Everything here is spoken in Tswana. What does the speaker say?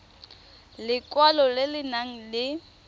lekwalo le le nang le